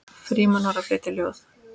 Frímann var að flytja ljóð.